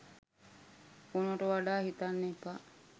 ඕනවට වඩා හිතන්න එපා.